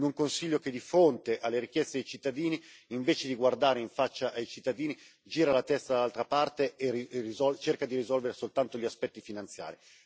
In un Consiglio che di fronte alle richieste dei cittadini, invece di guardare in faccia ai cittadini, gira la testa dall'altra parte e cerca di risolvere soltanto gli aspetti finanziari.